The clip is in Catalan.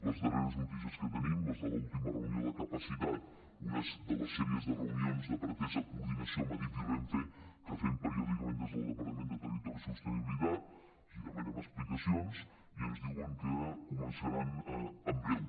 les darreres notícies que tenim les de l’última reunió de capacitat una de les sèries de reunions de pretesa coordinació amb adif i renfe que fem periòdicament des del departament de territori i sostenibilitat els demanem explicacions i ens diuen que començaran en breu